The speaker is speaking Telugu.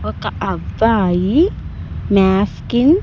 ఒక్క అబ్బాయి ముప్ఫకింగ్ .